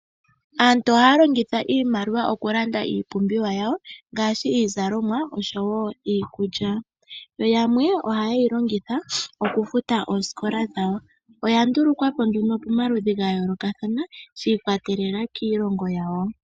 Aantu ohaa longitha iimaliwa okulanda iipumbiwa yawo ngaashi iizalomwa oshowo oshowo iikulya yamwe ohayeyi longitha okufuta oosikola dhawo oya ndulukwapo nduno pomaludhi ga yoolokathana shibikwatelela kiilongo yawo.